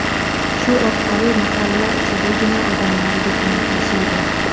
Shu orqali mahalla ichidagina odamlar yukini tashiydi.